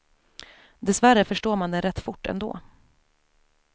Dessvärre förstår man den rätt fort ändå.